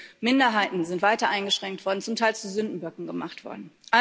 Wir wissen Minderheiten, sind weiter eingeschränkt worden, zum Teil zu Sündenböcken gemacht worden.